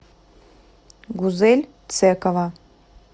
гузель цекова